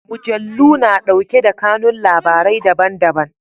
Mujallu na ɗauke da kanun labarai daban-daban.